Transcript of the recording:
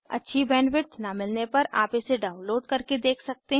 अच्छी बैंडविड्थ न मिलने पर आप इसे डाउनलोड करके देख सकते हैं